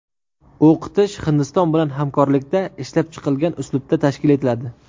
O‘qitish Hindiston bilan hamkorlikda ishlab chiqilgan uslubda tashkil etiladi.